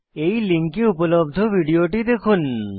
এই লিঙ্কে উপলব্ধ ভিডিওটি দেখুন